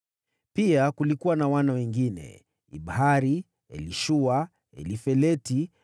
Pia kulikuwa na wana wengine: Ibihari, Elishua, Elifeleti,